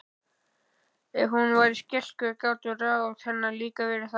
Ef hún var skeikul gátu ráð hennar líka verið það.